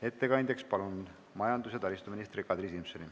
Ettekandjaks palun majandus- ja taristuminister Kadri Simsoni.